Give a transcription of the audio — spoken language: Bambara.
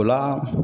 O la